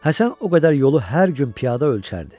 Həsən o qədər yolu hər gün piyada ölçərdi.